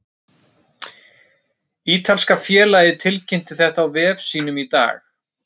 Ítalska félagið tilkynnti þetta á vef sínum í dag.